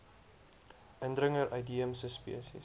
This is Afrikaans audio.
indringer uitheemse spesies